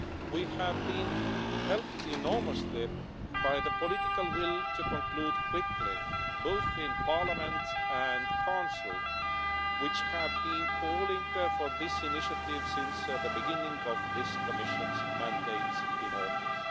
We have been helped enormously by the political will to conclude quickly both in Parliament and the Council, which have been calling for this initiative since the beginning of this Commission's mandate in office.